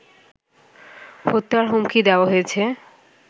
হত্যার হুমকি দেওয়া হয়েছে